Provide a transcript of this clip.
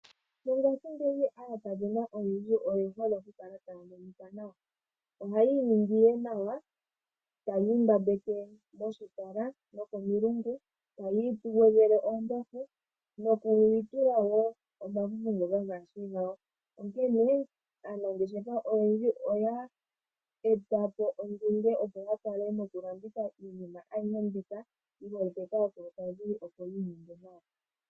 Mongashingeyi aakadhona oyendji oye hole okukala taya monika nawa. Ohaya iningi nduno nawa, taya imbambeke moshipala nokomilungu, taya igwedhele oombafu noku itula wo omafufu ngoka gaashi gawo, onkene aanangeshefa oyendji oye eta po ondunge opo ya landithe iinima ayihe mbika yi holike kaakulukadhi, opo yi ininge nawa.